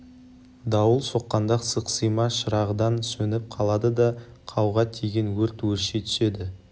дауыл соққанда сықсима шырағдан сөніп қалады да қауға тиген өрт өрши түседі